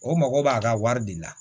O mago b'a ka wari de la